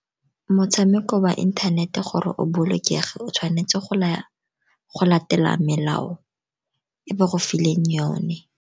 Motshameko wa inthanete gore o bolokege, o tshwanetse go latela melao e ba go fileng yone.